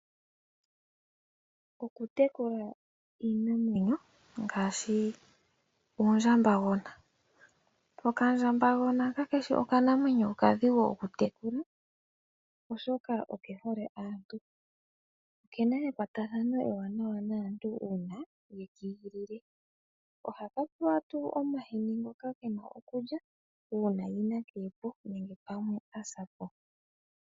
Okutekula iinamwenyo ngaashi oondjambagona. Okandjambagona kakeshi okanamwenyo okadhigu okutekula oshoka okehole aantu. Oke na ekwatathano ewanawa naantu uuna wekiigilile. Ohaka pewa tuu omahini ngoka ke na okulya uuna yina kepo nenge asa po.